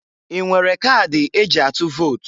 I nwere kadi e ji atụ vot?